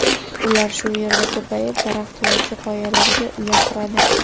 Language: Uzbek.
Ular shu yerda ko‘payib, daraxt yoki qoyalarga uya quradi.